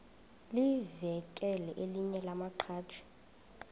livakele elinye lamaqhaji